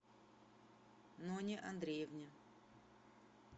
ноне андреевне